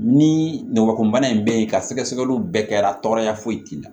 Ni ngɔbana in bɛ yen ka sɛgɛsɛgɛliw bɛɛ kɛra tɔgɔya foyi t'i la